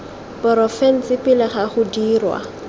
porofense pele ga go dirwa